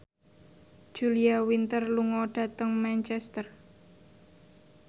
Julia Winter lunga dhateng Manchester